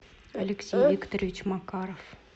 алексей викторович макаров